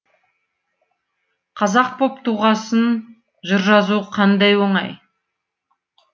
қазақ боп туғасын жыр жазу қандай оңай